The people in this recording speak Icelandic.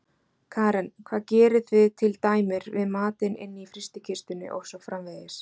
Karen: Hvað gerið þið til dæmir við matinn inni í frystikistunni og svo framvegis?